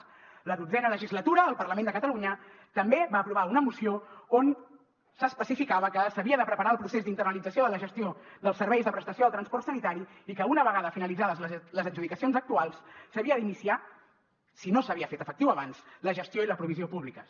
a la dotzena legislatura el parlament de catalunya també va aprovar una moció on s’especificava que s’havia de preparar el procés d’internalització de la gestió dels serveis de prestació del transport sanitari i que una vegada finalitzades les adjudicacions actuals s’havia d’iniciar si no s’havia fet efectiu abans la gestió i la provisió públiques